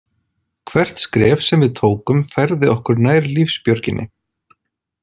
Hvert skref sem við tókum færði okkur nær lífsbjörginni.